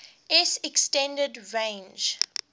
s extended range